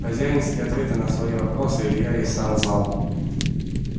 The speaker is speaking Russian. хозяинские ответы на свои вопросы илья и сам знал